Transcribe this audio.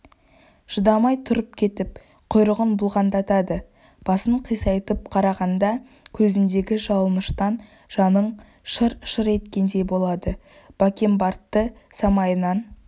шыдамай тұрып кетіп құйрығын бұлғаңдатады басын қисайтып қарағанда көзіндегі жалыныштан жаның шыр-шыр еткендей болады бакенбардты самайынан